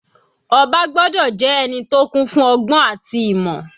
Ọba gbọ́dọ̀ jẹ́ ẹni tó kún fún ọgbọ́n àti ìmọ̀.